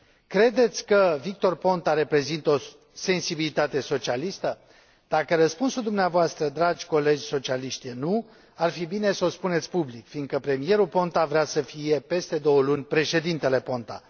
Credeți că Victor Ponta reprezintă o sensibilitate socialistă? Dacă răspunsul dumneavoastră, dragi colegi socialiști, e nu, ar fi bine să o spuneți public, fiindcă premierul Ponta vrea să fie, peste două luni, președintele Ponta.